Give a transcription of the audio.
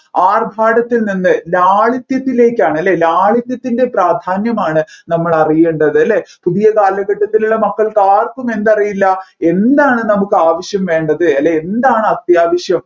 ആർഭാടത്തിൽ നിന്ന് ലാളിത്യത്തിലേക്കാണ് അല്ലെ ലാളിത്യത്തിൻറെ പ്രാധാന്യമാണ് നമ്മൾ അറിയേണ്ടത് അല്ലെ പുതിയ കാലഘട്ടത്തിലുള്ള മക്കൾക്ക് ആർക്കും എന്തറിയില്ല എന്താണ് നമ്മുക്ക് ആവശ്യം വേണ്ടത് അല്ലെ എന്താണ് അത്യാവശ്യം